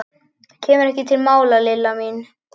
Það kemur ekki til mála, Lilla mín.